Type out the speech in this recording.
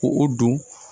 Ko o don